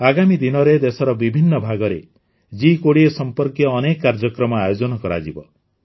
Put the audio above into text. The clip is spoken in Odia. ଆଗାମୀ ଦିନରେ ଦେଶର ବିଭିନ୍ନ ଭାଗରେ ଜି୨୦ ସମ୍ପର୍କୀୟ ଅନେକ କାର୍ଯ୍ୟକ୍ରମ ଆୟୋଜନ କରାଯିବ